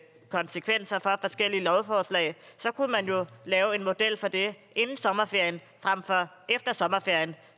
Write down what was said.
forskellige lovforslag så kunne man jo lave en model for det inden sommerferien frem for efter sommerferien